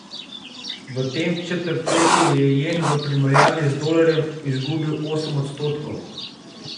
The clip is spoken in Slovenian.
V tem četrtletju je jen v primerjavi z dolarjem izgubil osem odstotkov.